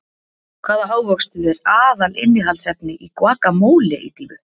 Hvaða ávöxtur er aðalinnihaldsefni í Guacamole ídýfu?